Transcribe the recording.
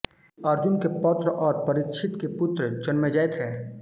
अर्जुन के पौत्र और परीक्षित के पुत्र जनमेजय थे